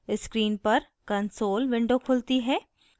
screen पर console window खुलती है